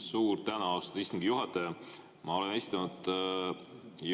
Suur tänu, austatud istungi juhataja!